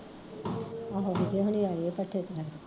ਆਹੋ ਵਿਜੇ ਹੋਰੀਂ ਆਏ ਆ ਭੱਠੇ ਤੋਂ